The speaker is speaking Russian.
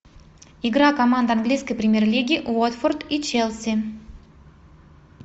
игра команд английской премьер лиги уотфорд и челси